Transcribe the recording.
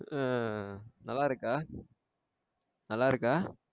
ஆஹ் நல்லா இருக்கா? நல்லா இருக்கா?